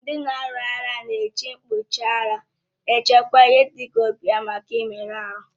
Ndị na-alu agha na èji mkpuchi ara echekwa ihe dịka obi ha maka mmerụ ahụ